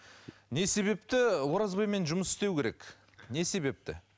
не себепті оразбаймен жұмыс істеу керек не себепті